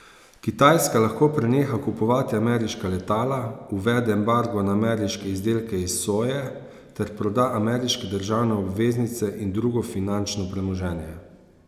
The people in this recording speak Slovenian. Kitajska lahko preneha kupovati ameriška letala, uvede embargo na ameriške izdelke iz soje ter proda ameriške državne obveznice in drugo finančno premoženje.